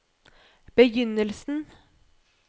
begynnelsen